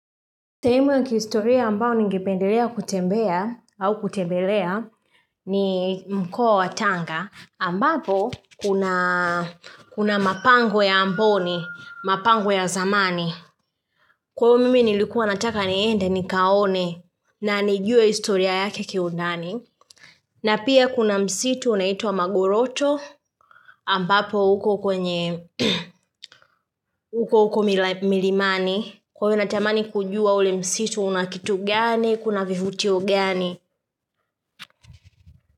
Sehemu ya kihistoria ambao ningipendelea kutembea au kutembelea ni mkua wa tanga ambapo kuna kuna mapango ya amboni, mapango ya zamani. Kwao mimi nilikuwa nataka niende ni kaone na nijue historia yake keundani. Na pia kuna msitu unaitua magoroto ambapo uko kwenye uko uko milimani. Kwawe natamani kujua ule msitu unakitu gani, kuna vivutio gani.